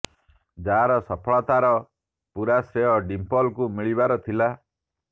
ଯାହାର ସଫଳତା ର ପୁରା ଶ୍ରେୟ ଡିମ୍ପଲଙ୍କୁ ମିଳିବାର ଥିଲା